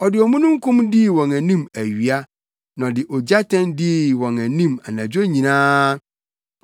Ɔde omununkum dii wɔn anim awia na ɔde ogyatɛn dii wɔn anim anadwo nyinaa.